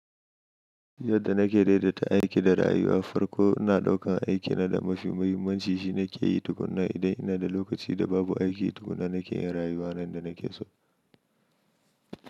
Yadda na ke daidaita aiki da rayuwa farko ina daukan aikina da mafi muhimmanci shine ke yi tukuna idan ina da lokaci da babu aiki tukuna nake yin rayuwa nan da nake so.